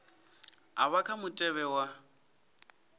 a vha kha mutevhe wa